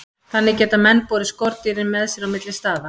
Þannig geta menn borið skordýrin með sér á milli staða.